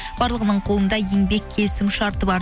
барлығының қолында еңбек келісім шарты бар